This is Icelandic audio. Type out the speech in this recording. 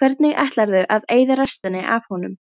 Hvernig ætlarðu að eyða restinni af honum?